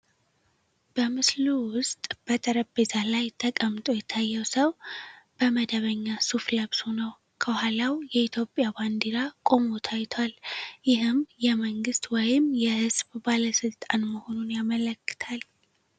በምስሉ ውስጥ በጠረጴዛ ላይ ተቀምጦ የታየው ሰው በመደበኛ ሱፍ ለብሶ ነው። ከኋላው የኢትዮጵያ ባንዲራ ቆሞ ታይቷል፣ ይህም የመንግስት ወይም የህዝብ ባለስልጣን መሆኑን ያመለክታል።